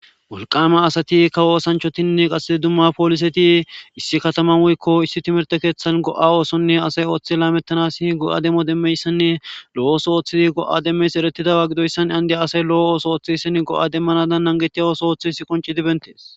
Molqame asati kawo sanchotinne qassee dumma pooliseti issi kataman woykko issi timerte keeththan go7a oosonne asay ooththi laamettanas go7a demmo demmeyssanne lo7ooso ooththidi go7a demmeys erettidawa gidoyssan andiy asay lo7o ooso ooththe issin go7a demmanadan nangetiya oso oothi is qonci dibentees